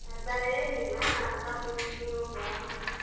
ಕಾರ್ಬಾರ್ ಏನಿಲ್ಲ shopping ಗೆ ಹೋಗುವ?